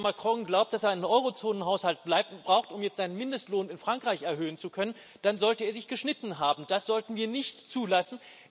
Und wenn Herr Macron glaubt, dass er einen Eurozonenhaushalt braucht, um jetzt seinen Mindestlohn in Frankreich erhöhen zu können, dann sollte er sich geschnitten haben, das sollten wir nicht zulassen.